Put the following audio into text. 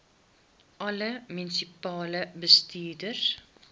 alle munisipale bestuurders